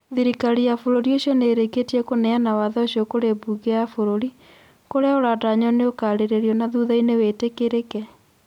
Thirikari ya bũrũri ũcio nĩ ĩrĩkĩtie kũneana watho ũcio kũrĩ mbunge ya bũrũri, kũrĩa ũratanywo nĩũkaarĩrĩrio na thuthainĩ wĩtĩkĩrĩke.